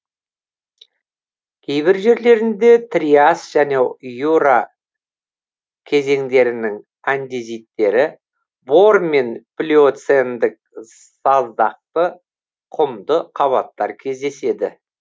кейбір жерлерінде триас және юра кезеңдерінің андезиттері бор мен плиоцендік саздақты құмды қабаттар кездеседі